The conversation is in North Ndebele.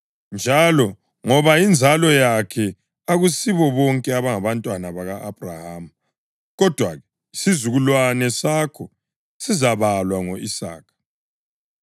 Njalo ngoba yinzalo yakhe akusibo bonke abangabantwana baka-Abhrahama. Kodwa-ke, “Isizukulwane sakho sizabalwa ngo-Isaka.” + 9.7 UGenesisi 21.12